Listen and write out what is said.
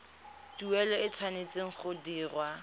tuelo e tshwanetse go dirwa